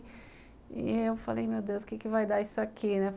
E eu falei, meu Deus, o que vai dar isso aqui, né?